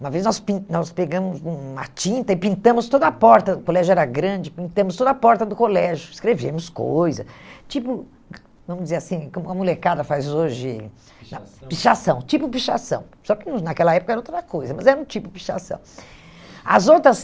Uma vez nós pin nós pegamos uma tinta e pintamos toda a porta, o colégio era grande, pintamos toda a porta do colégio, escrevemos coisas, tipo, vamos dizer assim, como a molecada faz hoje, pichação, pichação, tipo pichação, só que hum naquela época era outra coisa, mas era um tipo pichação. As outras